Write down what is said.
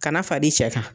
Ka na far'i cɛ kan